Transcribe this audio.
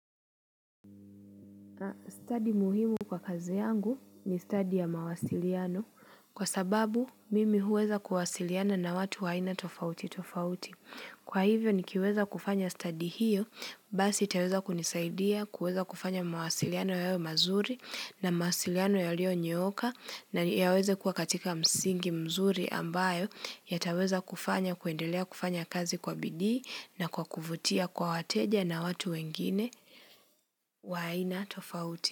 Stadi muhimu kwa kazi yangu ni stadi ya mawasiliano kwa sababu mimi huweza kuwasiliana na watu wa aina tofauti tofauti. Kwa hivyo ni kiweza kufanya study hiyo, basi itaweza kunisaidia, kuweza kufanya mawasiliano hayo mazuri namawasiliano yalionyooka na yaweze kuwa katika msingi mzuri ambayo yataweza kufanya kuendelea kufanya kazi kwa bidii na kwa kuvutia kwa wateja na watu wengine wa aina tofauti.